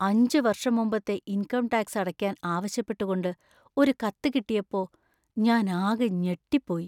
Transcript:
അഞ്ച് വർഷം മുമ്പത്തെ ഇൻകം ടാക്സ് അടയ്ക്കാൻ ആവശ്യപ്പെട്ടുകൊണ്ട് ഒരു കത്ത് കിട്ടിയപ്പോ ഞാൻ ആകെ ഞെട്ടിപ്പോയി.